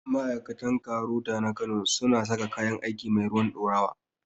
Ma'aikatan KAROTA na kano su na saka kayan aiki mai ruwan ɗorawa